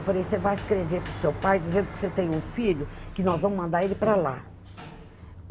Eu falei, você vai escrever para o seu pai dizendo que você tem um filho, que nós vamos mandar ele para lá.